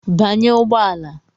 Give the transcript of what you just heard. Banye ụgbọ ala.